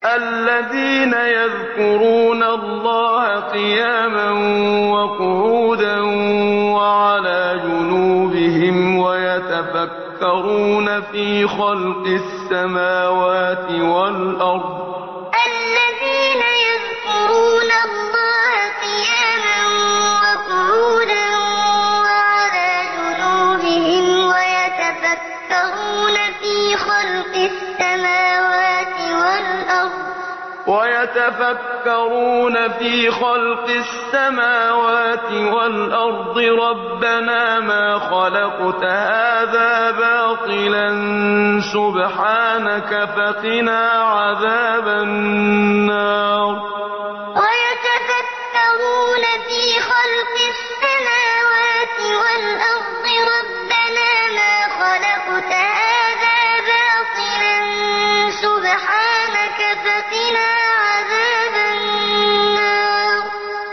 الَّذِينَ يَذْكُرُونَ اللَّهَ قِيَامًا وَقُعُودًا وَعَلَىٰ جُنُوبِهِمْ وَيَتَفَكَّرُونَ فِي خَلْقِ السَّمَاوَاتِ وَالْأَرْضِ رَبَّنَا مَا خَلَقْتَ هَٰذَا بَاطِلًا سُبْحَانَكَ فَقِنَا عَذَابَ النَّارِ الَّذِينَ يَذْكُرُونَ اللَّهَ قِيَامًا وَقُعُودًا وَعَلَىٰ جُنُوبِهِمْ وَيَتَفَكَّرُونَ فِي خَلْقِ السَّمَاوَاتِ وَالْأَرْضِ رَبَّنَا مَا خَلَقْتَ هَٰذَا بَاطِلًا سُبْحَانَكَ فَقِنَا عَذَابَ النَّارِ